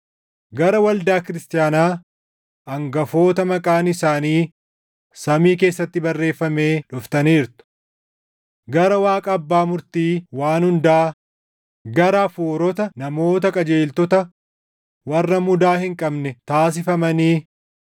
gara waldaa kiristaanaa hangafoota maqaan isaanii samii keessatti barreeffamee dhuftaniirtu. Gara Waaqa Abbaa Murtii waan hundaa, gara hafuurota namoota qajeeltota warra mudaa hin qabne taasifamanii,